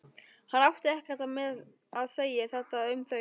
Hann átti ekkert með að segja þetta um þau.